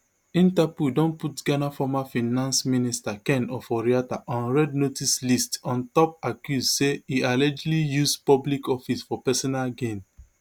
interpol don put ghana former finance minister ken oforiatta on red notice list on top accuse say e allegedly use public office for personal gain